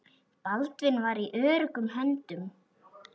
Baldvin var í öruggum höndum.